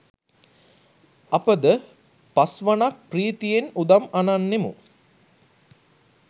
අපද පස්වනක් ප්‍රීතියෙන් උදම් අනන්නෙමු